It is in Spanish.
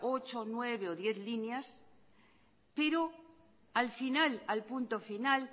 ocho nueve o diez líneas pero al final al punto final